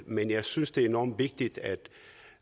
men jeg synes det er enormt vigtigt at